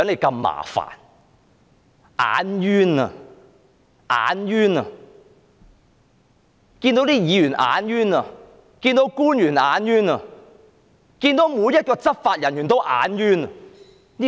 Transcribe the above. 他們看到議員便"眼冤"；看到官員便"眼冤"；看到執法人員便"眼冤"。